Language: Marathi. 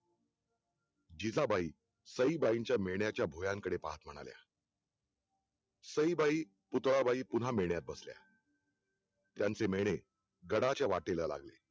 जिजाबाई सईबाईंच्या मेंण्याच्या भुवयांकडे पाहत म्हणाल्या सईबाई पुतळाबाई पुन्हा मेळण्यात बसल्या त्यांचे मेळणे गडाच्या वाटेला लागले